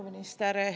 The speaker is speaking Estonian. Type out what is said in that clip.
Peaminister!